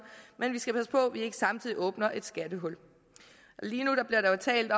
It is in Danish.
men vi skal passe på at vi ikke samtidig åbner et skattehul lige nu bliver der jo talt